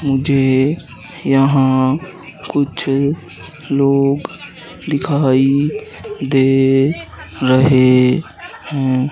मुझे यहां कुछ लोग दिखाई दे रहे हैं।